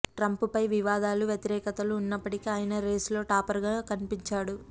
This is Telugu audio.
ట్రంప్ పై వివాదాలు వ్యతిరేకతలు ఉన్నప్పటికీ ఆయనా రేసులో టాపర్ గా కనిపించాడు